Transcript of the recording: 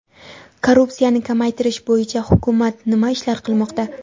Korrupsiyani kamaytirish bo‘yicha hukumat nima ishlar qilmoqda?.